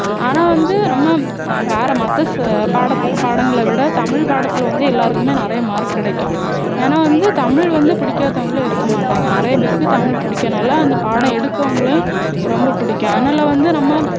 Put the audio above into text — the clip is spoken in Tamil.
ஆனா வந்து நம்ம வார மத்த பாடத்தை~பாடங்களை விட தமிழ் பாடத்துல வந்து எல்லாருக்குமே நிறைய mark கிடைக்கும் ஏன்னா வந்து தமிழ் வந்து புடிக்காதவங்களே இருக்கமாட்டாங்க நிறைய பேருக்கு தமிழ் புடிக்கறதுனால அந்த பாடம் எடுக்குறவங்களையும் ரொம்ப புடிக்கும் அதனால வந்து நம்ம